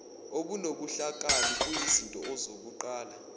okunobuhlakani kuyizinto zokuqala